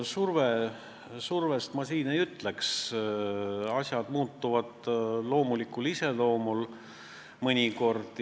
Survest ma siin ei räägiks, asjad muutuvad loomulikul moel mõnikord.